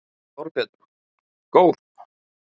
Þorbjörn: Góð?